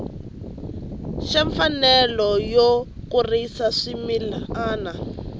xa mfanelo yo kurisa swimila